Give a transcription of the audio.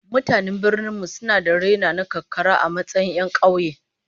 Mutanen birnin mu suna da raina na karkara a matsayin 'yan kauye